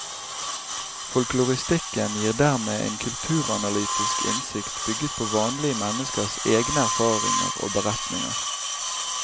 Folkloristikken gir dermed en kulturanalytisk innsikt bygget på vanlige menneskers egne erfaringer og beretninger.